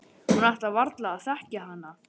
Hún ætlaði varla að þekkja hana.